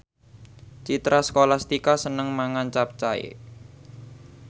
Citra Scholastika seneng mangan capcay